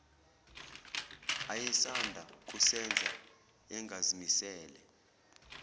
ayesanda kusenza engazimisele